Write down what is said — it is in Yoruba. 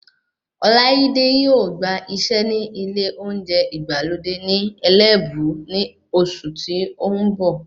Ọláídé yóò gbà iṣẹ́ ní ilé oúnjẹ ìgbàlódé ní Ẹlẹ́bú ní oṣù tí o n bọ̀